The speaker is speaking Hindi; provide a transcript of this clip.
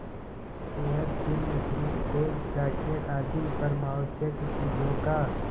हेयरपिन ब्रुचेज जाकेट आदि परमावश्यक चीजों का